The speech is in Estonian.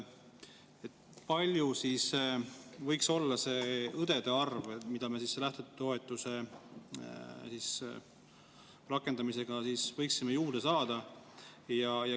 Kui suur siis võiks olla see õdede arv, mida me selle lähtetoetuse rakendamisega võiksime juurde saada?